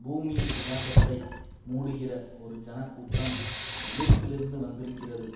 பூமியின் விசாலத்தை மூடுகிற ஒரு ஜனக்கூட்டம் எகிப்திலிருந்து வந்திருக்கிறது